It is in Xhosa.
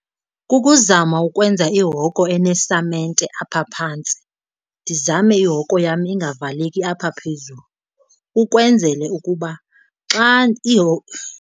Kukuzama ukwenza ihoko enesamente apha phantsi, ndizame ihoko yam ingavaleki apha phezulu ukwenzele ukuba xa .